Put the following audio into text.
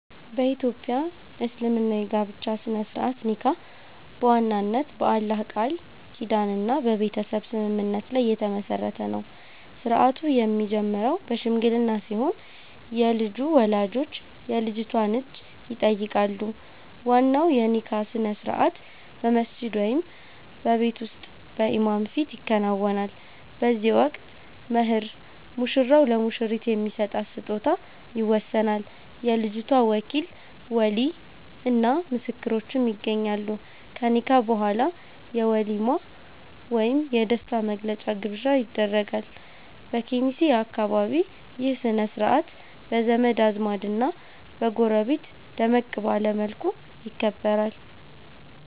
በ ኢትዮጵያ እስልምና የጋብቻ ሥነ-ሥርዓት (ኒካህ) በዋናነት በአላህ ቃል ኪዳንና በቤተሰብ ስምምነት ላይ የተመሠረተ ነው። ሥርዓቱ የሚጀምረው በሽምግልና ሲሆን፣ የልጁ ወላጆች የልጅቷን እጅ ይጠይቃሉ። ዋናው የኒካህ ሥነ-ሥርዓት በመስጂድ ወይም በቤት ውስጥ በኢማም ፊት ይከናወናል። በዚህ ወቅት "መህር" (ሙሽራው ለሙሽሪት የሚሰጣት ስጦታ) ይወሰናል፤ የልጅቷ ወኪል (ወሊይ) እና ምስክሮችም ይገኛሉ። ከኒካህ በኋላ የ"ወሊማ" ወይም የደስታ መግለጫ ግብዣ ይደረጋል። በኬሚሴ አካባቢ ይህ ሥነ-ሥርዓት በዘመድ አዝማድና በጎረቤት ደመቅ ባለ መልኩ ይከበራል።